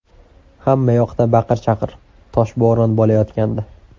Hamma yoqda baqir-chaqir, toshbo‘ron bo‘layotgandi.